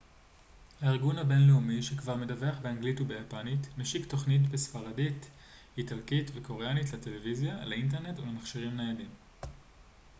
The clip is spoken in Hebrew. הארגון הבינלאומי שכבר מדווח באנגלית וביפנית משיק תוכניות בספרדית איטלקית וקוריאנית לטלוויזיה לאינטרנט ולמכשירים ניידים